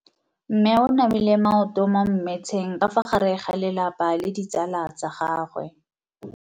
Mme o namile maoto mo mmetseng ka fa gare ga lelapa le ditsala tsa gagwe.